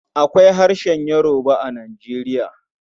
Akwai harshen Yoruba a Nijeriya.